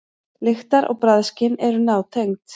Lyktar- og bragðskyn eru nátengd.